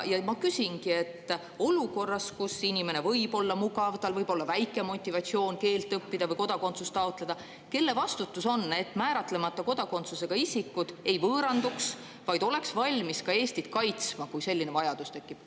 Ma küsingi, et olukorras, kus inimene võib olla mugav, tal võib olla väike motivatsioon keelt õppida või kodakondsust taotleda, kelle vastutus see on, et määratlemata kodakondsusega isikud ei võõranduks, vaid oleks valmis ka Eestit kaitsma, kui selline vajadus tekib.